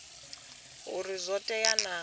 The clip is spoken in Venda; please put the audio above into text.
uri zwo tea naa uri